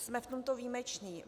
Jsme v tomto výjimeční.